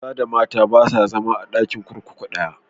Maza da mata ba sa zama a ɗakin kurkuku ɗaya.